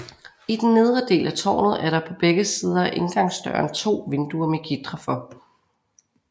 I den nedre del af tårnet er der på begge sider af indgangsdøren 2 vinduer med gitre for